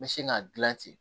N bɛ sin ka gilan ten